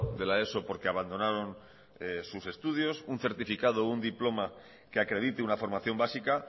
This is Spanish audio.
de la eso porque abandonaron sus estudios un certificado un diploma que acredite una formación básica